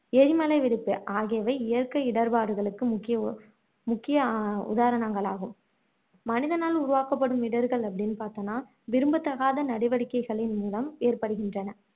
எரிமலை வெடிப்பு ஆகியவை இயற்கை இடர்பாடுகளுக்கு முக்கிய உ முக்கிய உதாரணங்களாகும் மனிதனால் உருவாக்கப்படும் இடர்கள் அப்படின்னு பார்த்தோம்னா விரும்பத்தகாத நடவடிக்கைகளின் மூலம் ஏற்படுகின்றன